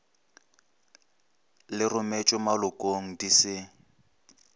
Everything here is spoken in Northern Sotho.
le rometšwego malokong di se